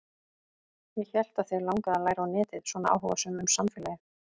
Ég hélt að þig langaði að læra á netið, svona áhugasöm um samfélagið.